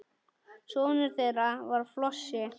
Sonur þeirra var Flosi.